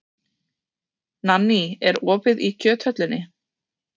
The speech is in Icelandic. Nanný, er opið í Kjöthöllinni?